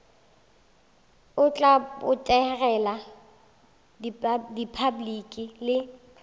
o tla botegela repabliki le